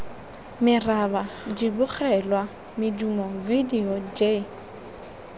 meraba dibogelwa medumo vidio j